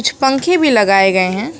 कुछ पंखे भी लगाए गए हैं।